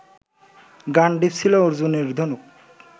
গাণ্ডীব ছিল অর্জুনের ধনুক